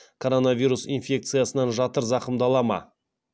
коронавирус инфекциясынан жатыр зақымдала ма